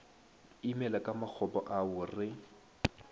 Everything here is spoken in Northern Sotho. imela ka makgopo ao re